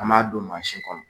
An m'a don kɔnɔ